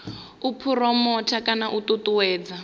u phuromotha kana u ṱuṱuwedza